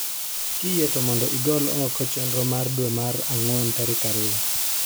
Kiyie to mondo igol oko chenro mar dwe mar ang'wen tarik ariyo